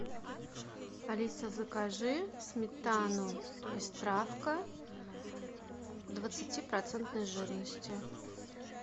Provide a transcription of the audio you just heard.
алиса закажи сметану пестравка двадцати процентной жирности